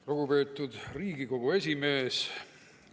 Lugupeetud Riigikogu esimees!